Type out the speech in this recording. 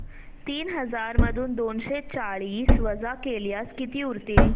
तीन हजार मधून दोनशे चाळीस वजा केल्यास किती उरतील